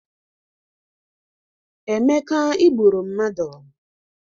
Emeka igburu mmadụ